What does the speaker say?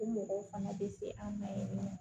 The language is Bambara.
O mɔgɔw fana bɛ se an ma yen nɔ